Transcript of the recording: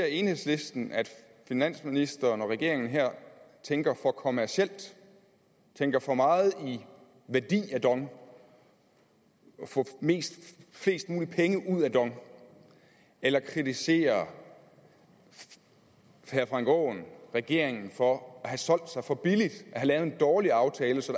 enhedslisten at finansministeren og regeringen her tænker for kommercielt tænker for meget i værdi af dong få flest mulige penge ud af dong eller kritiserer herre frank aaen regeringen for at have solgt sig for billigt at have lavet en dårlig aftale så